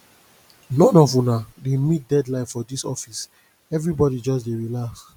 none of una dey meet deadline for dis office everybody just dey relax